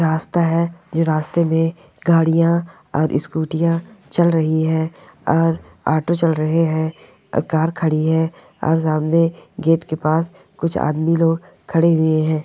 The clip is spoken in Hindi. रास्ता है रास्ते में गाड़िया और स्कूटिया चल रही है और ऑटो चल रहे है कार खड़ी है और सामने गेट के पास कुछ आदमी लोग खड़े हुए है।